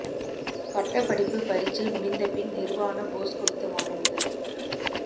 பட்டப்படிப்பு பரீட்சை முடிந்த பின் நிர்வாண போஸ் கொடுத்த மாணவிகள்